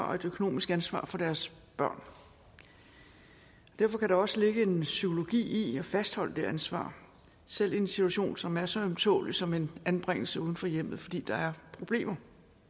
og et økonomisk ansvar for deres børn derfor kan der også ligge noget psykologisk i at fastholde det ansvar selv i en situation som er så ømtålelig som en anbringelse uden for hjemmet fordi der er problemer